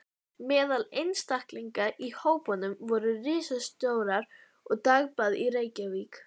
Meðal einstaklinga í hópnum voru ritstjórar allra dagblaða í Reykjavík.